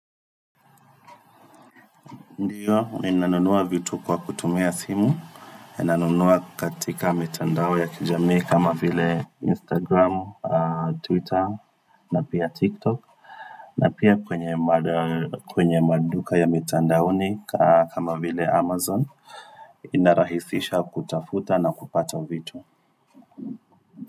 Ndio, ninanunua vitu kwa kutumia simu, ninanunua katika mitandao ya kijamii kama vile Instagram, Twitter, na pia TikTok. Na pia kwenye maduka ya mitandaoni kama vile Amazon inarahisisha kutafuta na kupata vitu.